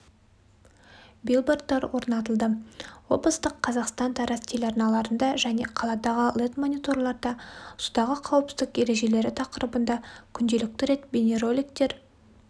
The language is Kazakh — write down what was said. билбордтар орнатылды облыстық қазақстан-тараз телеарналарында және қаладағы лед-мониторларда судағы қауіпсіздік ережелері тақырыбына күнделікті рет бейнероликтер